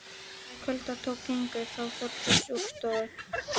Þegar kvölda tók gengu þau Þórdís úr stofu.